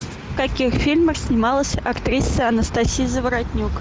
в каких фильмах снималась актриса анастасия заворотнюк